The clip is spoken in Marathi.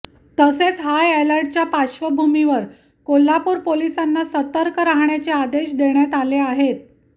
तसेच हायअलर्टच्या पार्श्वभूमीवर कोल्हापूर पोलीसांना सतर्क रहाण्याचे आदेश देण्यात आले आहेत